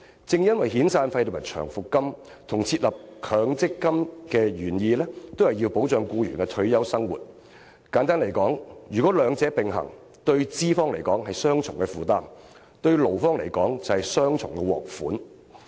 正因為遣散費和長期服務金與設立強積金的原意均是要保障僱員的退休生活，如果兩者並行，對資方來說是雙重負擔；而對勞方來說，則是雙重獲益。